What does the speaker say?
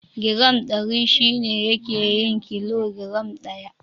Giram Ɗari shi ne yake yin kilo giram ɗaya.